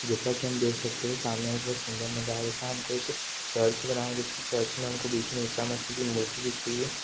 जेसा की हम देख सक्ते है सामने मे सिंगर दिख रहा है कोई चर्च बना दिख रहा है चर्च मे हमको बीच मे ईसामासी की मूर्ति दिख रही है।